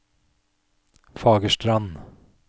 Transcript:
Fagerstrand